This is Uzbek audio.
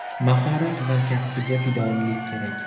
mahorat va kasbiga fidoyilik kerak.